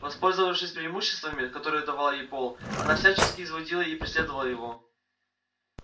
воспользовавшись преимуществами которые давал ей пол она всячески изводила и преследовала его